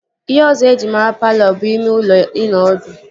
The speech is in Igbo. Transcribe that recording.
Ihe ọzọ eji mara palọ bụ ime ụlọ ịnọ ọdụ